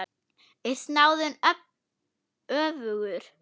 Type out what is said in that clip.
Er snáðinn öfugur?